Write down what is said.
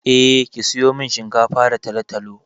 Eh, ki sayo min shinkafa da talo-talo.